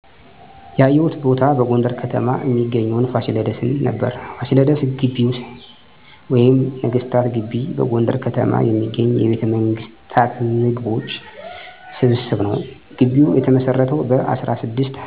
ያየሁት ቦታ በጎንደር ከተማ እሚገኘዉን ፋሲለደስን ነበር። ፋሲለደስ ግቢ ወይም ነገስታት ግቢ በጎንደር ከተማ የሚገኝ የቤተመንግስታት ግምቦች ስብስብ ነዉ። ግቢዉ የተመሰረተዉ በ1628 ዓ.ም በአፄ ፋሲለደስ ነበር። ማቀባበያ የሚሰኘዉ የግቢዉ አጥር 900 ሜትር ርዝመት ሲኖረዉ በዉስጡ 70,000 ስኩየር ሜትር የመሬት ይዞታ ይከልላል። አፄ ፋሲለደስ የመጀመሪያዉን ና ታላቁን ግድብ ያሰሩ እንጂ፣ ከርሳቸዉ በኋላ የተነሱት ነገስታትም ለ220 አመታት የየራሳቸዉን ህንፃ በመስራት ቦታዉ በቅርስ እንዲዳብር አድርገዋል። በግቢዉ የመጨረሻዉን ህንፃ ያሰራችዉ ንግስት ብርሀን ሞገስ ነበረች።